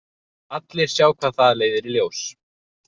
Allir sjá hvað það leiðir í ljós.